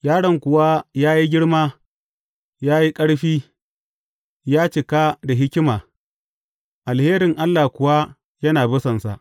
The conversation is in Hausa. Yaron kuwa ya yi girma ya yi ƙarfi; ya cika da hikima, alherin Allah kuwa yana bisansa.